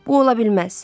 Bu ola bilməz.